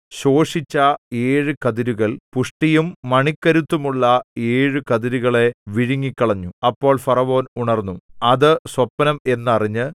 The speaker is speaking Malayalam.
ശോഷിച്ച ഏഴു കതിരുകൾ പുഷ്ടിയും മണിക്കരുത്തുമുള്ള ഏഴു കതിരുകളെ വിഴുങ്ങിക്കളഞ്ഞു അപ്പോൾ ഫറവോൻ ഉണർന്നു അത് സ്വപ്നം എന്ന് അറിഞ്ഞ്